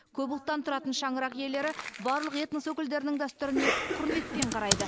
көп ұлттан тұратын шаңырақ иелері барлық этнос өкілдерінің дәстүріне құрметпен қарайды